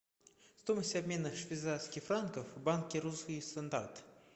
стоимость обмена швейцарских франков в банке русский стандарт